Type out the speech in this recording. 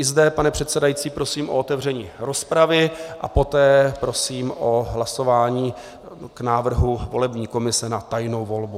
I zde, pane předsedající, prosím o otevření rozpravy a poté prosím o hlasování k návrhu volební komise na tajnou volbu.